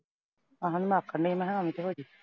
ਆਹੋ। ਨੱਖ ਨੇ ਮਖਾਂ ਐਵੀਂ ਤੋਂ ਵੱਡੀ।